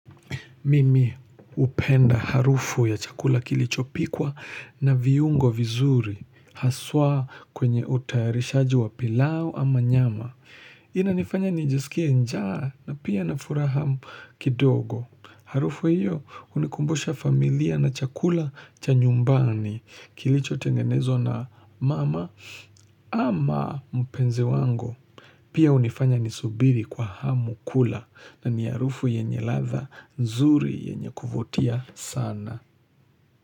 Mimi hupenda harufu ya chakula kilichopikwa na viungo vizuri. Haswa kwenye utayarishaji wa pilau ama nyama. Ina nifanya nijisikie njaa na pia na furaha kidogo. Harufu hiyo hunikumbusha familia na chakula cha nyumbani kilicho tengenezwa na mama ama mpenzi wangu. Pia hunifanya nisubiri kwa hamu kula na ni harufu yenye ladha nzuri yenye kuvutia sana.